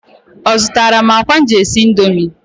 Ọ zụtara m akwa m ji esi Indomie?